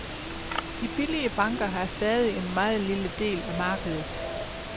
De billige banker har stadig en meget lille del af markedet.